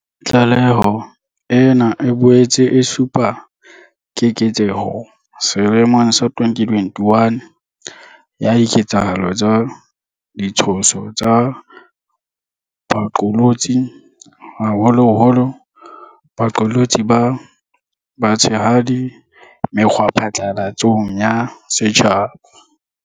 Tlaleho ena e boetse e supa keketseho selemong sa 2021 ya diketsahalo tsa ditshoso tsa baqolotsi, haholoholo baqolotsi ba batshehadi mekgwaphatlalatsong ya setjhaba.